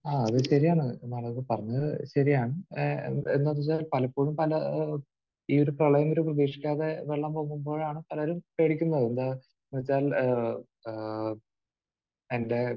ആഹ്. അത് ശരിയാണ്. പറഞ്ഞത് ശരിയാണ്. ഏഹ് എന്താണെന്ന് വെച്ചാൽ പലപ്പോഴും പല ഈ ഒരു പ്രളയം ഒരു പ്രതീക്ഷിക്കാതെ വെള്ളം പൊങ്ങുമ്പോഴാണ് പലരും പേടിക്കുന്നത്. എന്ന് വെച്ചാൽ ഏഹ് ഏഹ് എന്റെ